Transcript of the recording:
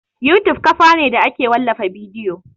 YouTube kafa ne da ake wallafa bidiyo